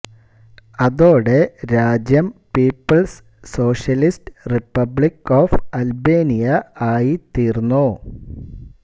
അതോടെ രാജ്യം people's socialist republic of Albania ആയിത്തീർന്നു